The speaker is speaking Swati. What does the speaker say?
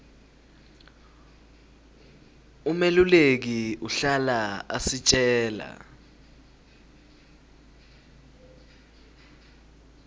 umeluleki uhlala asitjela